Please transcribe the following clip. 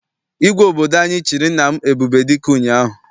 Igwe obodo anyị chịrị nna m Ebubedike ụnyaahụ.